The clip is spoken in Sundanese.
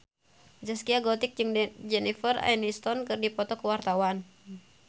Zaskia Gotik jeung Jennifer Aniston keur dipoto ku wartawan